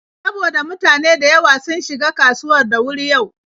Saboda mutane da yawa sun shiga kasuwar da wuri yau.